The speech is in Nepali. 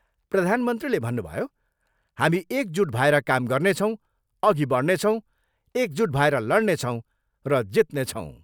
प्रधानमन्त्रीले भन्नुभयो, हामी एकजुट भएर काम गर्नेछौँ, अघि बढनेछौँ, एकजुट भएर लडनेछौँ र जित्नेछौँ।